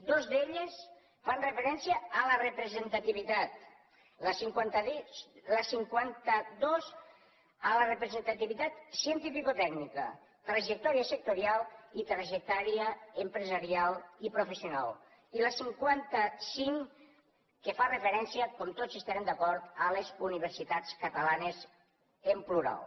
dues d’elles fan referència a la representativitat la cinquanta dos a la representativitat cientificotècnica trajectòria sectorial i trajectòria empresarial i professional i la cinquanta cinc que fa referència com tots hi estarem d’acord a les universitats catalanes en plural